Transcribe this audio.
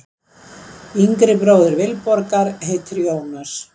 Yngri bróðir Vilborgar heitir Jónas.